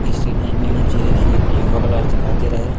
इस इमेज में मुझे एक ये योगा क्लास दिखाई दे रहा है।